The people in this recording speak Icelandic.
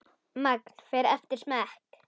Magn fer eftir smekk.